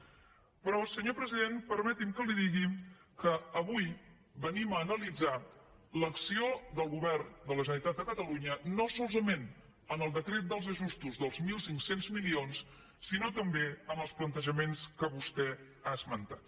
però senyor president permeti’m que li digui que avui venim a analitzar l’acció del govern de la generalitat de catalunya no solament en el decret dels ajustos dels mil cinc cents milions sinó també en els plantejaments que vostè ha esmentat